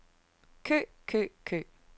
kø kø kø